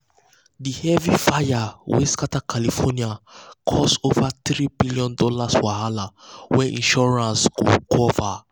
um the heavy fire wey scatter california cause over um $3 billion wahala wey insurance um go cover.